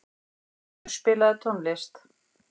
Þrymur, spilaðu tónlist.